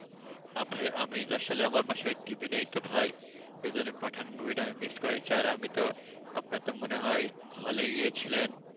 আহ ভাই আমি আসলে আমার বাসায় TV নেই তো ভাই সেই জন্যে পাঠান movie টা আমি miss করেছি আর আমি তো আপনার তো মনে হয় hall এ গিয়েছিলেন।